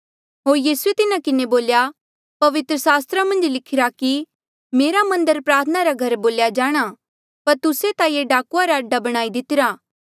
होर यीसूए तिन्हा किन्हें बोल्या पवित्र सास्त्रा मन्झ लिखिरा कि मेरा मन्दर प्रार्थना रा घर बोल्या जाणा पर तुस्से ता ये डाकुआ रा अडा बणाई दितिरा